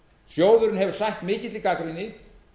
sjóðurinn hefur sætt mikilli gagnrýni